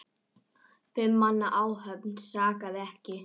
Fimm manna áhöfn sakaði ekki.